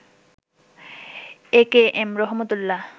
AKM Rahmat Ullah